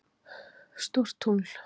stórt tungl